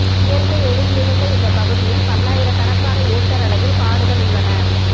இயற்கை எழில் மிகுந்த இந்த பகுதியில் பல்லாயிரக்கணக்கான ஏக்கர் அளவில் காடுகள் உள்ளன